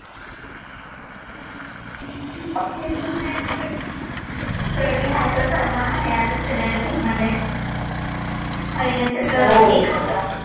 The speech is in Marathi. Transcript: हम्म ते तर आहेच स्टडी. स्टडी हा तर सर्व आहे आताच्या जनरेशन मध्ये. पहिलेचं तर ठीक होतं.